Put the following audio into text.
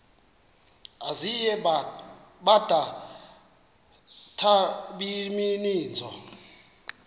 ezinye bada nabaninizo